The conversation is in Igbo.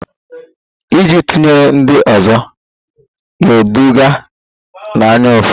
Iji tụnyere ndị ọzọ ga-eduga n'anyaụfụ